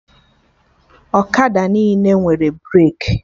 Ọkada niile nwere breki